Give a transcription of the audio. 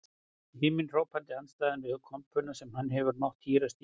Himinhrópandi andstæða við kompuna sem hann hefur mátt hírast í um sína daga.